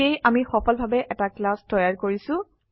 সেয়ে আমিসফলভাবে এটা ক্লাছ তৈয়াৰকৰিছো